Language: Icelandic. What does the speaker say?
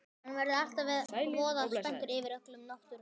Samþykkt á Alþingi lög um sundhöll í Reykjavík.